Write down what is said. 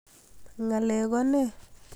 ngalek ko nee?